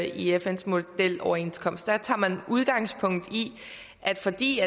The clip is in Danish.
i fns modeloverenskomst der tager man udgangspunkt i at fordi